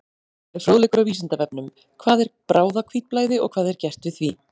Frekari fróðleikur á Vísindavefnum: Hvað er bráðahvítblæði og hvað er gert við því?